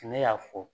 Ne y'a fɔ